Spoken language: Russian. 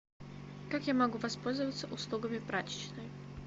как я могу воспользоваться услугами прачечной